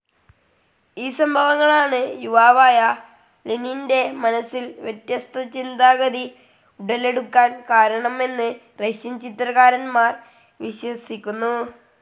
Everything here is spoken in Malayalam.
ഈ സംഭവങ്ങൾ ആണ്‌ യുവാവായ ലെനിന്റെ മനസ്സിൽ വ്യത്യസ്ത ചിന്താഗതി ഉടലെടുക്കാൻ കാരണം എന്ന് റഷ്യൻ ചരിത്രകാരന്മാർ വിശ്വസിക്കുന്നു.